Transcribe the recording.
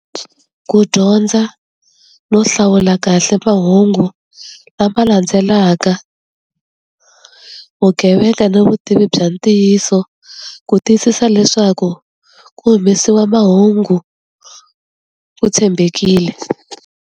Ku dyondza no hlawula kahle mahungu lama landzelaka vugevenga ni vutivi bya ntiyiso ku tiyisisa leswaku ku humesiwa mahungu ku tshembekile.